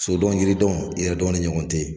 So dɔn yiri dɔn yɛrɛ dɔn ne ɲɔgɔn te ye.